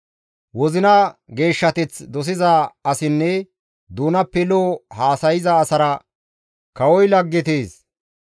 Wozina geeshshateth dosiza asinne doonappe lo7o haasayza asara kawoy laggetees.